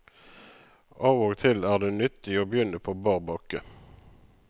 Av og til er det nyttig å begynne på bar bakke.